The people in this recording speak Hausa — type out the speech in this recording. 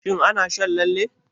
Shin ana shan lalle?